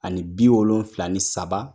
Ani bi wolonfila ni saba